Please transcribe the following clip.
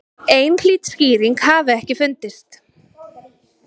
Einhlít skýring hafi ekki fundist.